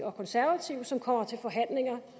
og konservative som kommer til forhandlinger